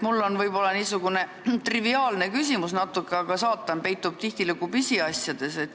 Mul on võib-olla natuke triviaalne küsimus, aga saatan peitubki tihtilugu pisiasjades.